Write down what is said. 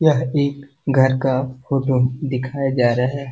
यह एक घर का फोटो दिखाया जा रहा है।